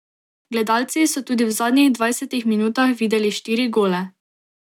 Gledalci so tudi v zadnjih dvajsetih minutah videli štiri gole.